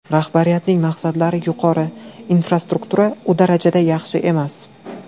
Rahbariyatning maqsadlari yuqori, infrastruktura u darajada yaxshi emas.